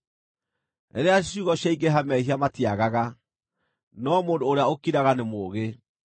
Rĩrĩa ciugo ciaingĩha mehia matiagaga, no mũndũ ũrĩa ũkiraga nĩ mũũgĩ.